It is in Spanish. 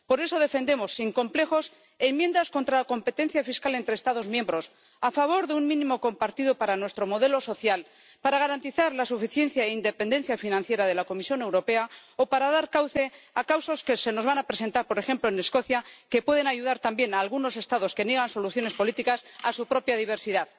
Por eso defendemos sin complejos enmiendas contra la competencia fiscal entre Estados miembros, a favor de un mínimo compartido para nuestro modelo social, para garantizar la suficiencia e independencia financiera de la Comisión Europea o para dar cauce a causas que se nos van a presentar, por ejemplo en Escocia, que pueden ayudar también a algunos Estados que niegan soluciones políticas a su propia diversidad.